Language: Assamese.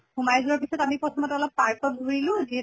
সোমাই যোৱাৰ পিছত আমি প্ৰথমত অলপ park ত ঘুৰিলো যিহেতু